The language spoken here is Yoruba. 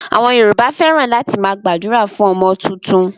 Àwọn Yorùbá fẹ́ràn láti máa gbàdúrà fún ọmọ tuntun.